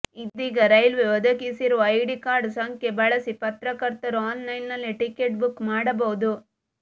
ಇದೀಗ ರೈಲ್ವೆ ಒದಗಿಸಿರುವ ID card ಸಂಖ್ಯೆ ಬಳಸಿ ಪತ್ರಕರ್ತರು ಆನ್ಲೈನ್ನಲ್ಲಿ ಟಿಕೆಟ್ ಬುಕ್ ಮಾಡಬಹುದು